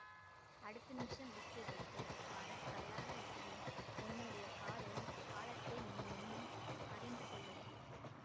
அடுத்த நிமிஷம் விட்டுவிட்டு வர தயாராயிருக்கிறேன் என்னுடைய காதலின் ஆழத்தை நீ இன்னும் அறிந்து கொள்ளவில்லை